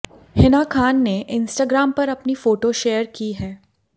हिना खान ने इंस्टाग्राम पर अपनी फोटो शेयर की है